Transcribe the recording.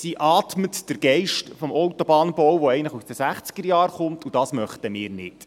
Sie atmet den Geist des Autobahnbaus, der eigentlich aus den Sechzigerjahren kommt, und das möchten wir nicht.